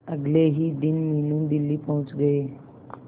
अगले ही दिन मीनू दिल्ली पहुंच गए